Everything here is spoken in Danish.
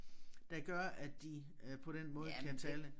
Der gør at de øh på den måde kan tale